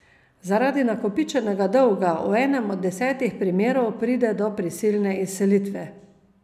Zaradi nakopičenega dolga v enem od desetih primerov pride do prisilne izselitve.